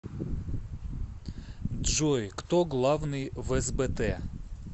джой кто главный в сбт